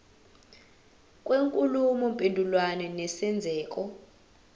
kwenkulumo mpendulwano nesenzeko